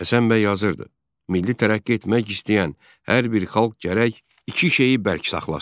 Həsən bəy yazırdı: Milli tərəqqi etmək istəyən hər bir xalq gərək iki şeyi bərk saxlasın.